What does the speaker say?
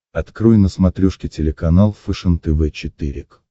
открой на смотрешке телеканал фэшен тв четыре к